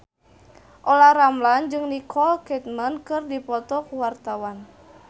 Olla Ramlan jeung Nicole Kidman keur dipoto ku wartawan